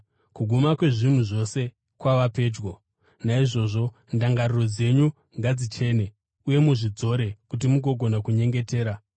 Kuguma kwezvinhu zvose kwava pedyo. Naizvozvo ndangariro dzenyu ngadzichene uye muzvidzore kuti mugogona kunyengetera.